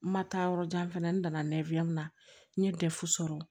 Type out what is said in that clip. N ma taa yɔrɔ jan fɛnɛ n nana na n ye sɔrɔ